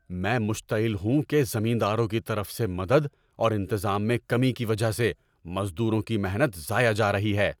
میں مشتعل ہوں کہ زمینداروں کی طرف سے مدد اور انتظام میں کمی کی وجہ سے مزدوروں کی محنت ضائع جا رہی ہے۔